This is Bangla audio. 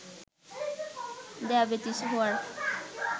ডায়াবেটিস হওয়ার